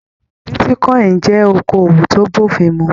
Bitíkọ̀in jẹ okoowó to b'ofin mú.